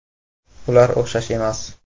“Ular o‘xshash emas.